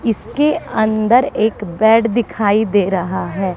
इसके अंदर एक बैड दिखाई दे रहा है।